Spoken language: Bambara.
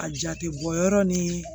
A jate bɔ yɔrɔ ni